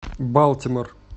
балтимор